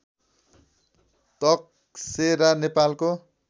तकसेरा नेपालको